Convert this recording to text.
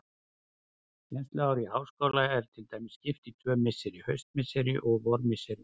Kennsluári í háskóla er til dæmis skipt í tvö misseri, haustmisseri og vormisseri.